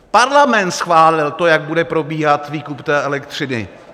Parlament schválil to, jak bude probíhat výkup té elektřiny!